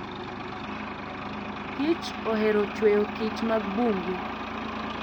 kich ohero chweyo kich mag bungu.